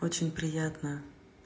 очень приятно